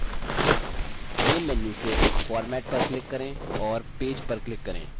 main menu से format पर click करें और page पर click करें